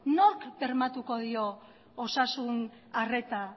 nork bermatuko dio osasun arreta